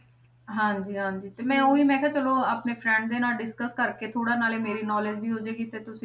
ਹਾਂਜੀ ਹਾਂਜੀ ਤੇ ਮੈਂ ਉਹੀ ਮੈਂ ਕਿਹਾ ਚਲੋ ਆਪਣੇ friend ਦੇ ਨਾਲ discus ਕਰਕੇ ਥੋੜ੍ਹਾ ਨਾਲੇ ਮੇਰੀ knowledge ਵੀ ਹੋ ਜਾਏਗੀ ਤੇ ਤੁਸੀਂ,